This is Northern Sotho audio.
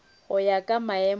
go ya ka maemo a